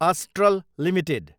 astral Ltd